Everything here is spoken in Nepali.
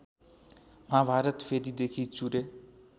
महाभारत फेदिदेखि चुरे